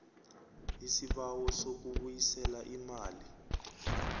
isibawo sokubuyisela imali